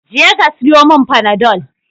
Je ka siyomin fanadol